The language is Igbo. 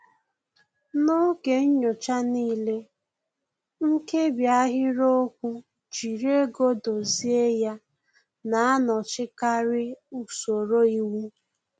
N'oge nyocha n'ile, nkebi ahịrịokwu "jiri ego dozie ya" na-anọchikarị usoro iwu